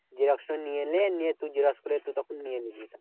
Xerox টা নিয়ে নে নিয়ে তুই xerox করে একটু তখন নিয়ে নিবি।